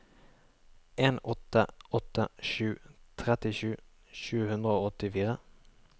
en åtte åtte sju trettisju sju hundre og åttifire